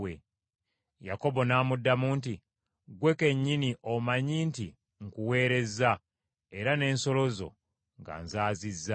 Yakobo n’amuddamu nti, “Ggwe kennyini omanyi nti nkuweerezza era n’ensolo zo nga nzaazizza.